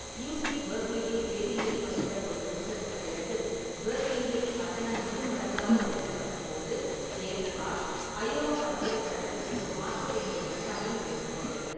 UC. பெர்க்லியில் வேதியியல் படித்த ஒரு செமஸ்டருக்குப் பிறகு, பெர்க்லியில் கட்டணம் இரு மடங்காக உயர்த்தப்பட்டபோது ஜெயப்பிரகாஷ் அயோவா பல்கலைக்கழகத்திற்கு மாற்ற வேண்டிய கட்டாயம் ஏற்பட்டது.